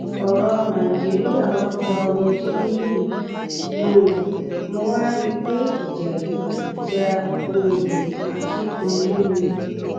ọrọ nàìjíríà wàá gba omijé lójú mi um mo wàá rí i pé ìjà yìí ìjà um akínkanjú ni